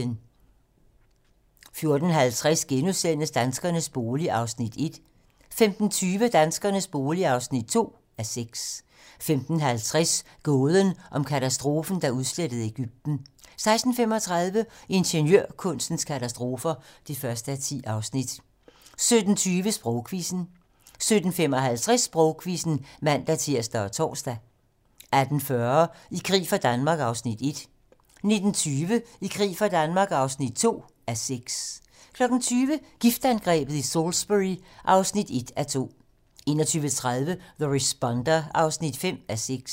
14:50: Danskernes bolig (1:6)* 15:20: Danskernes bolig (2:6) 15:50: Gåden om katastrofen, der udslettede Egypten 16:35: Ingeniørkunstens katastrofer (1:10) 17:20: Sprogquizzen 17:55: Sprogquizzen (man-tir og tor) 18:40: I krig for Danmark (1:6) 19:20: I krig for Danmark (2:6) 20:00: Giftangrebet i Salisbury (1:2) 21:30: The Responder (5:6)